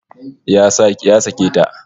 Ya sake ta